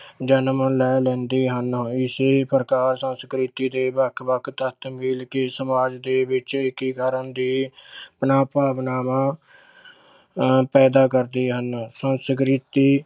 ਜਨਮ ਲੈ ਲੈਂਦੇ ਹਨ ਇਸੇ ਪ੍ਰਕਾਰ ਸੰਸਕ੍ਰਿਤੀ ਦੇ ਵੱਖ ਵੱਖ ਤੱਤ ਮਿਲ ਕੇ ਸਮਾਜ ਦੇ ਵਿੱਚ ਏਕੀਕਰਨ ਦੇ ਭਾਵਨਾਵਾਂ ਅਹ ਪੈਦਾ ਕਰਦੇ ਹਨ ਸੰਸਕ੍ਰਿਤੀ